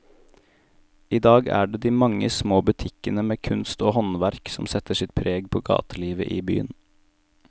I dag er det de mange små butikkene med kunst og håndverk som setter sitt preg på gatelivet i byen.